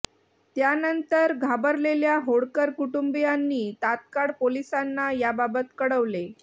त्यानंतल घाबरलेल्या होळकर कुटुंबीयांनी तात्काळ पोलिसांना याबाबत कळवले